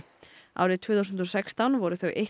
árið tvö þúsund og sextán voru þau